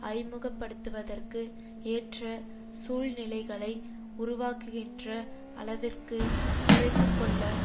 அறிமுக படுத்துவதற்கு ஏற்ற சூழ்நிலைகளை உருவாக்குகின்ற அளவிற்கு குறைத்து கொள்ள